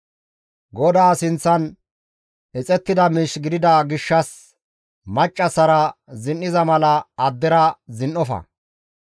«GODAA sinththan ixettida miish gidida gishshas maccassara zin7iza mala addera zin7ofa.